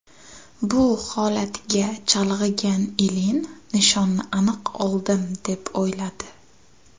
Bu holatga chalg‘igan Ilin nishonni aniq oldim deb o‘yladi.